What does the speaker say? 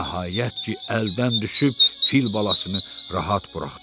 Nəhayət ki, əldən düşüb fil balasını rahat buraxdılar.